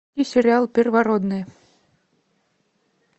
сериал первородные